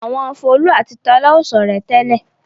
Àwọn Folú àti Tọ́lá ò ṣọ̀rẹ́ tẹ́lẹ̀.